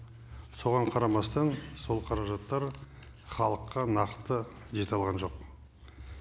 соған қарамастан сол қаражаттар халыққа нақты жете алған жоқ